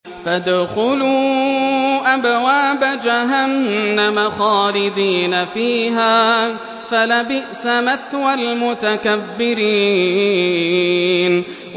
فَادْخُلُوا أَبْوَابَ جَهَنَّمَ خَالِدِينَ فِيهَا ۖ فَلَبِئْسَ مَثْوَى الْمُتَكَبِّرِينَ